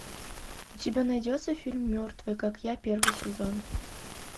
у тебя найдется фильм мертвый как я первый сезон